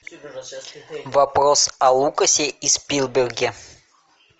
вопрос о лукасе и спилберге